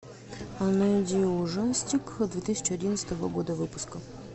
найди ужастик две тысячи одиннадцатого года выпуска